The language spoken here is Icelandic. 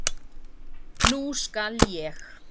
Nú skal ég.